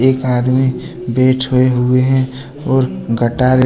एक आदमी बैठे हुए हैं और गटार--